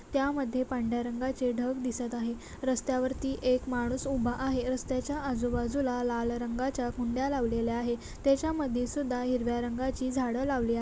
त्यामधे पांढऱ्या रंगाचे ढग दिसत आहे रस्त्यावरती एक माणूस उभा आहे रस्त्याच्या आजूबाजूला लाल रंगाच्या कुंड्या लावलेल्या आहे त्याच्यामध्ये सुद्धा हिरव्या रंगाची झाड लावली आ--